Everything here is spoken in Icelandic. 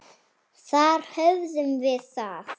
Þar höfðum við það.